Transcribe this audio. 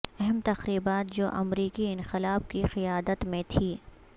اہم تقریبات جو امریکی انقلاب کی قیادت میں تھی